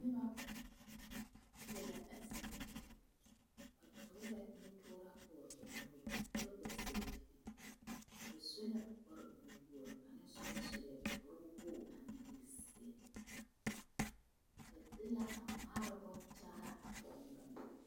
Noba be la a zie ŋa poɔ ba toore nu toora pɔge ba nuuri kyɛ gba sɛ sapige ba su la kparre wogri kaŋa soba sue kpare wogre anaŋ e zeɛ ba de la a maaroŋ boŋ kyaara a pɔge ne bameŋa.